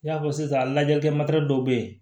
I y'a fɔ sisan lajɛlikɛ dɔw bɛ yen